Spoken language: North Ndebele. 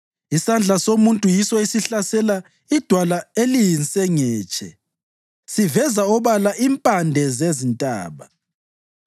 Isandla somuntu yiso esihlasela idwala eliyinsengetshe siveze obala impande zezintaba.